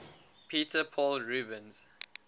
peter paul rubens